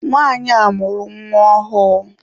Nwanyi a mụrụ nwa ọhụụ.